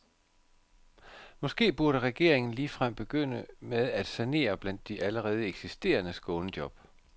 Måske burde regeringen ligefrem begynde med at sanere blandt de allerede eksisterende skånejob.